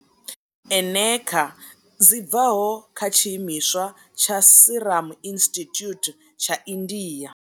Eneca dzi bvaho kha tshiimiswa tsha Serum Institute tsha India.